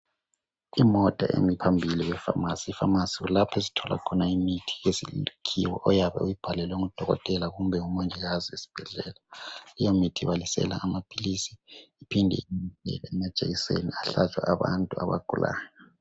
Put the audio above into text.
imota emi phambili kwe phamarcy i phamarcy kulapho esithola khona imithi yesikhiwa oyabe uyibhalelelwe ngu dokotela kumben ngu mongikazi esibhedlela leyo mithi ibalisela amaphilisi iphinde ibalisele amajekiseni ahlatshwayo abantu abagulayo